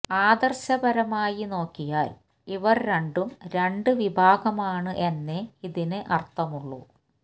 ആദര്ശപരമായി നോക്കിയാല് ഇവര് രണ്ടും രണ്ട് വിഭാഗമാണ് എന്നേ ഇതിന് അര്ഥമുള്ളൂ